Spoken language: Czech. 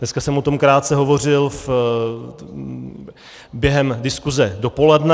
Dneska jsem o tom krátce hovořil během diskuse dopoledne.